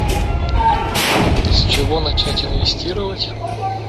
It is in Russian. с чего начать инвестировать